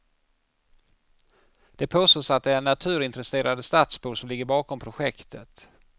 Det påstås att det är naturintresserade stadsbor som ligger bakom projektet.